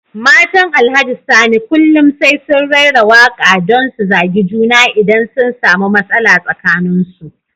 Matan Alhaji Sani kullum sai sun raira waka don su zagi juna idan sun samu matsala tsakanin su.